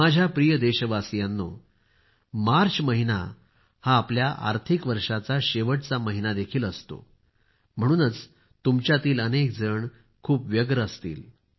माझ्या प्रिय देशवासियांनो मार्च महिना हा आपल्या आर्थिक वर्षाचा शेवटचा महिना देखील आहे म्हणूनच तुमच्यातील अनेक जण खूप व्यस्त देखील असतील